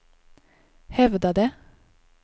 hävdade